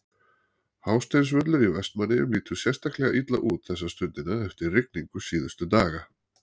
Hásteinsvöllur í Vestmannaeyjum lítur sérstaklega illa út þessa stundina eftir rigningu síðustu daga.